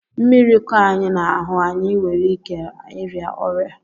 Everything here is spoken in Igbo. Mmiri kọ anyị n'ahú, anyị nwèrè íké ịria ọrịa